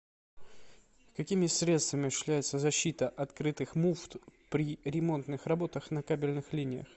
какими средствами осуществляется защита открытых муфт при ремонтных работах на кабельных линиях